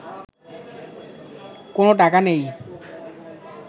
কোনো টাকা নেই